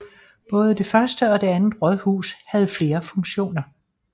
Både det første og det andet rådhus havde flere funktioner